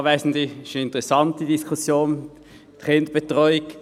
Es ist eine interessante Diskussion rund um die Kinderbetreuung.